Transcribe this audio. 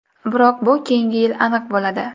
Biroq bu keyingi yil aniq bo‘ladi.